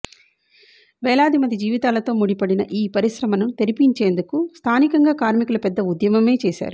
వేలాది మంది జీవితాలతో ముడిపడిన ఈ పరిశ్రమను తెరిపిం చేందుకు స్థానికంగా కార్మికులు పెద్ద ఉద్యమమే చేశారు